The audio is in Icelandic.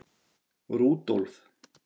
Rúdólf